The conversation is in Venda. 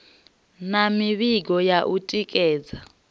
na mivhigo ya u tikedza